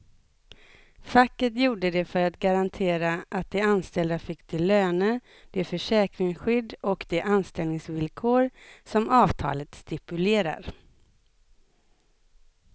Facket gjorde det för att garantera att de anställda fick de löner, det försäkringsskydd och de anställningsvillkor som avtalet stipulerar.